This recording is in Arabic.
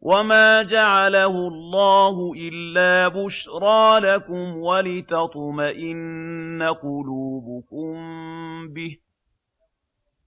وَمَا جَعَلَهُ اللَّهُ إِلَّا بُشْرَىٰ لَكُمْ وَلِتَطْمَئِنَّ قُلُوبُكُم بِهِ ۗ